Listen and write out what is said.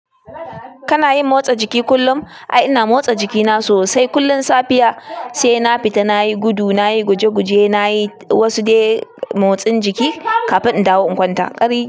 Kana yin motsa jiki kullum? Ai ina motsa jikina sosai, kullum safiya sai na fita nayi gudu, nayi guje guje, nayi wasu dai motsin jiki kafin in dawo in kwanta. Kari.